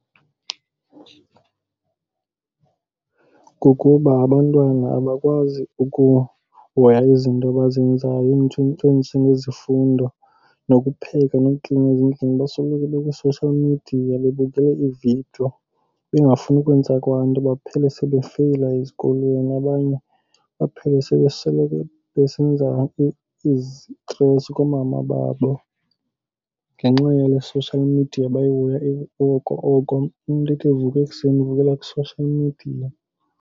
Kukuba abantwana abakwazi ukuhoya izinto abazenzayo ezinjengezifundo nokupheka nokuklina ezindlini. Basoloko bekwi-social media bebukele iividiyo bengafuni ukwenza kwanto baphele sebefeyila ezikolweni. Abanye baphele sebe sele besenza izitresi koomama babo ngenxa yale social media bayihoya oko oko. Umntu athi evuka ekuseni avukele kwi-social media.